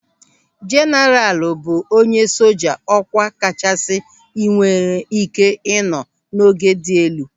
Jeenaralu bụ onye soja ọkwa kachasị nwere ị́ké ịnọ n'ogo dị elu.